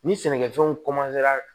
Ni sɛnɛkɛfɛnw